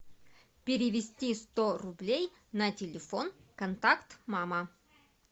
перевести сто рублей на телефон контакт мама